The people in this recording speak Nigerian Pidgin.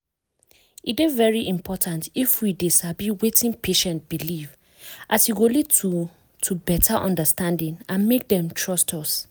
e dey very important if we dey sabi wetin patient believe as e go lead to to beta understanding and make dem trust us.